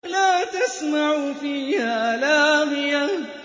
لَّا تَسْمَعُ فِيهَا لَاغِيَةً